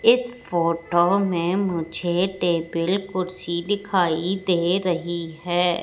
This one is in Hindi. इस फोटो में मुझे टेबिल कुर्सी दिखाई दे रही हैं।